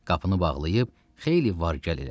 Qapını bağlayıb xeyli var-gəl elədi.